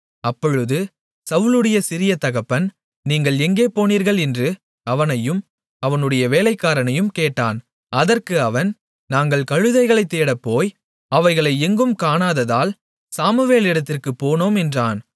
அப்பொழுது சவுலுடைய சிறிய தகப்பன் நீங்கள் எங்கே போனீர்கள் என்று அவனையும் அவனுடைய வேலைக்காரனையும் கேட்டான் அதற்கு அவன் நாங்கள் கழுதைகளைத் தேடப்போய் அவைகளை எங்கும் காணாததால் சாமுவேலிடத்திற்குப் போனோம் என்றான்